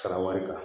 Sara wari kan